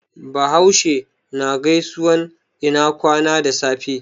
Bahaushe na gaisuwan ina kwana da safe.